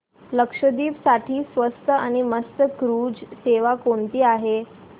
लक्षद्वीप साठी स्वस्त आणि मस्त क्रुझ सेवा कोणती आहे